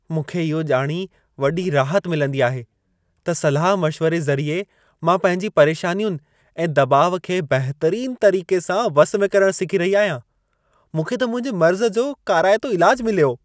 मूंखे इहो ॼाणी वॾी राहत मिलंदी आहे, त सलाह मशिवरे ज़रिए मां पंहिंजी परेशानियुनि ऐं दॿाउ खे बहितरीन तरीक़े सां वस में करणु सिखी रही आहियां। मूंखे त मुंहिंजे मर्ज़ जो काराइतो इलाजु मिलियो।